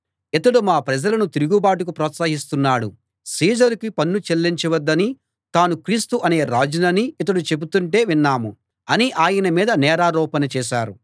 ఇతడు మా ప్రజలను తిరుగుబాటుకు ప్రోత్సహిస్తున్నాడు సీజరుకి పన్ను చెల్లించ వద్దనీ తాను క్రీస్తు అనే రాజుననీ ఇతడు చెబుతుంటే విన్నాము అని ఆయన మీద నేరారోపణ చేశారు